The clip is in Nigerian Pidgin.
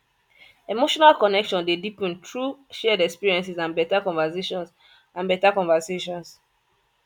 emotional connection dey deepen through shared experiences and better conversations and better conversations